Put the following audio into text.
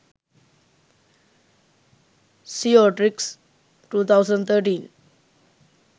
seo tricks 2013